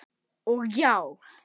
Og já.